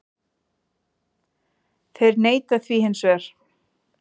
Þeir neita því hins vegar